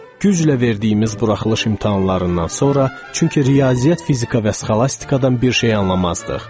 Güclə verdiyimiz buraxılış imtahanlarından sonra, çünki riyaziyyat, fizika və sxolastikadan bir şey anlamazdıq.